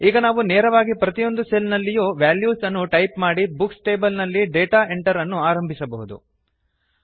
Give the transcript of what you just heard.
ಈಗ ನಾವು ನೇರವಾಗಿ ಪ್ರತಿಯೊಂದು ಸೆಲ್ ನಲ್ಲಿಯೂ ವೆಲ್ಯೂಸ್ ಅನ್ನು ಟೈಪ್ ಮಾಡಿ ಬುಕ್ಸ್ ಟೇಬಲ್ ನಲ್ಲಿ ಡೇಟಾ ಎಂಟರ್ ಅನ್ನು ಆರಂಭಿಸಬಹುದು